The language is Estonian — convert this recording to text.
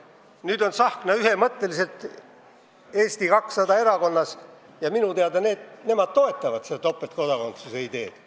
Nüüd on Tsahkna ühemõtteliselt Eesti 200 erakonnas, kes minu teada toetab seda topeltkodakondsuse ideed.